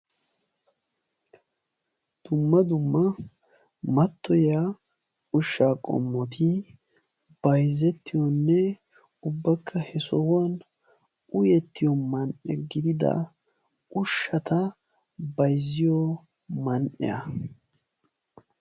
Dumma dumma mattoyiya ushshaa qommoti bayzettiyonne ubbakka he sohuwan uyettiyo man"e gidida ushshata bayzziyo man"iya.